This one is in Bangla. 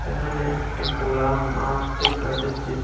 এখানে একটি কোলা মাঠ দেকা যাচ্ছে।